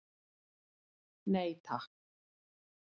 Nei takk.